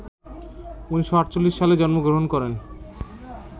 ১৯৪৮ সালে জন্মগ্রহণ করেন